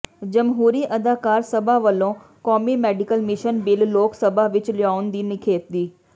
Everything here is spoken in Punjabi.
ਜਮਹੂਰੀ ਅਧਿਕਾਰ ਸਭਾ ਵਲੋਂ ਕੌਮੀ medical mission bill Lok Sabha ਵਿਚ ਲਿਆਉਣ ਦੀ ਨਿਖੇਧੀ